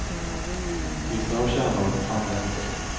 Vissa har kärnor, andra inte.